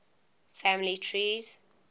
family trees